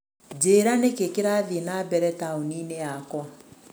Njĩra nĩkĩĩ kĩrathiĩ na mbere taũni-inĩ yakwa.